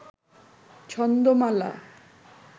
ছন্দমালা